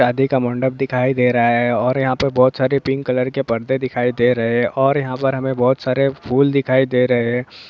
शादी का मंडप दिखाई दे रहा है और यहाँ पे बहुत सारे पिंक कलर के पर्दे दिखाई दे रहे है और यहाँ पर हमें बहुत सारे फूल दिखाई दे रहे है।